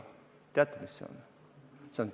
Kas teate, mis see on?